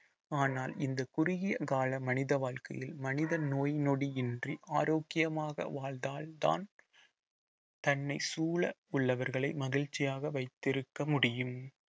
ஆனால் இந்த குறுகிய கால மனித வாழ்க்கையில் மனித நோய் நொடி இன்றி ஆரோக்கியமாக வாழ்ந்தாதான் தன்னை சூழ உள்ளவர்களை மகிழ்ச்சியாக வைத்திருக்க முடியும்